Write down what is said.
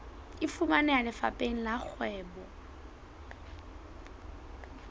e fumaneha lefapheng la kgwebo